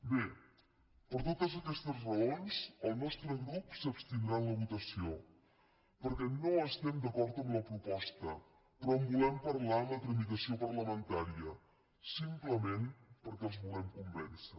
bé per totes aquestes raons el nostre grup s’abstindrà en la votació perquè no estem d’acord amb la proposta però en volem parlar en la tramitació parlamentària simplement perquè els volem convèncer